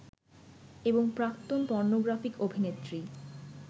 এবং প্রাক্তন পর্নোগ্রাফিক অভিনেত্রী